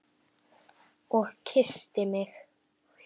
Og kyssti mig.